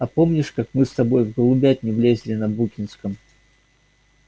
а помнишь как мы с тобой в голубятню влезли на букинском